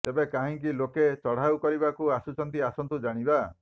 ତେବେ କାହିଁକି ଲୋକେ ଚଢଉ କରିବାକୁ ଆସୁଛନ୍ତି ଆସନ୍ତୁ ଜାଣିବା